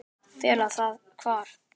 Fela það hvar?